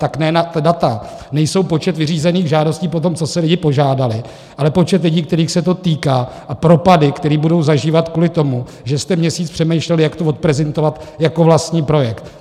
Tak ne, ta data nejsou počet vyřízených žádostí po tom, co si lidé požádali, ale počet lidí, kterých se to týká, a propady, které budou zažívat kvůli tomu, že jste měsíc přemýšleli, jak to odprezentovat jako vlastní projekt.